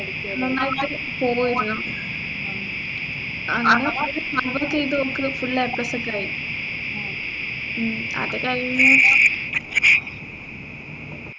നന്നായിട്ട് പോവുയായിരുന്നു അങ്ങനെ ചെയ്ത് ഓൾക്ക് full A plus ഒക്കെ ആയി ഉം അത് കഴിഞ്ഞ്